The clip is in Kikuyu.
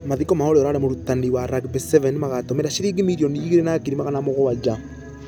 Mathiko ma ũrĩa ũrarĩ mũrutani wa rugby sevens magatũmĩra shiringi mirrioni igĩrĩ na ngiri magana mũgwaja.